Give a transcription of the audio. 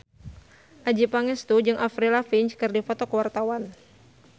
Adjie Pangestu jeung Avril Lavigne keur dipoto ku wartawan